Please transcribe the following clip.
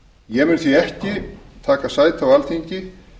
ég mun því ekki taka sæti á alþingi